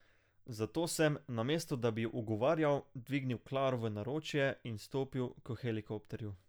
Zato sem, namesto da bi ji ugovarjal, dvignil Claro v naročje in stopil k helikopterju.